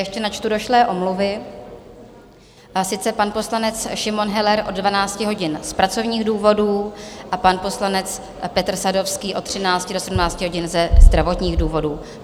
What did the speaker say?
Ještě načtu došlé omluvy, a sice pan poslanec Šimon Heller od 12 hodin z pracovních důvodů a pan poslanec Petr Sadovský od 13 do 17 hodin ze zdravotních důvodů.